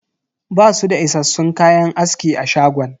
Basu da issassun kayan aski a shagon.